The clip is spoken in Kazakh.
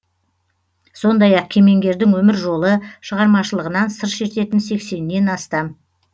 сондай ақ кемеңгердің өмір жолы шығармашылығынан сыр шертетін сексеннен астам